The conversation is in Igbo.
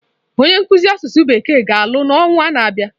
Onye nkuzi asụsụ bekee ga-alụ n'ọnwa na-abịa.